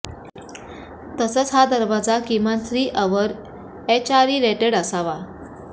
तसंच हा दरवाजा किमान थ्री अवर एचआरई रेटेड असावा